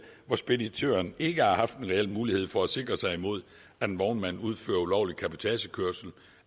hvor speditøren ikke har haft en reel mulighed for at sikre sig mod at en vognmand udfører ulovlig cabotagekørsel